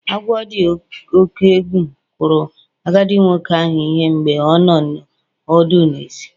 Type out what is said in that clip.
Agwọ dị oke egwu kụrụ agadi nwoke ahụ ihe mgbe ọ nọ ọdụ n'èzí